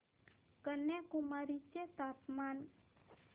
कन्याकुमारी चे तापमान